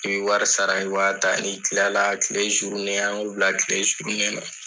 I bɛ wari sara i waa tan ni tila la tile ani k'o bila tile nɔ na.